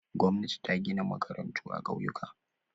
Gwamnati ta gina makarantu a ƙauyuka.